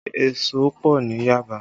Èso pọ ní Yaba